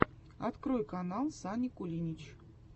открой канал сани кулинич